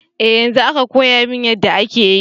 Eh yanzo aka koyamin yadda ake yi.